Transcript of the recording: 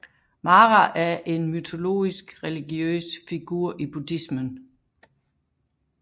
Mara er en mytologisk religiøs figur i buddhismen